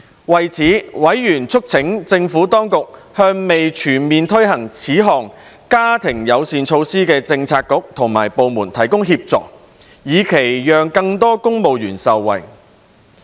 為此，委員促請政府當局向未全面推行這項家庭友善措施的政策局及部門提供協助，以期讓更多公務員受惠。